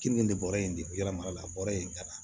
Keninge bɔra yen yɛlɛma la bɔra yen ka na